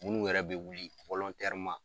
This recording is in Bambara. Minnu yɛrɛ bɛ wuli